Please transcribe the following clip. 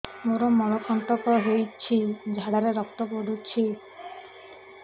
ମୋରୋ ମଳକଣ୍ଟକ ହେଇଚି ଝାଡ଼ାରେ ରକ୍ତ ପଡୁଛି